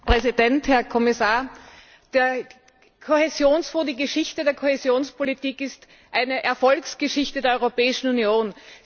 Herr Präsident, Herr Kommissar! Der Kohäsionsfonds die Geschichte der Kohäsionspolitik ist eine Erfolgsgeschichte der Europäischen Union.